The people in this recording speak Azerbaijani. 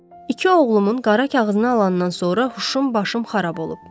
İki oğlumun qara kağızını alandan sonra huşum başım xarab olub.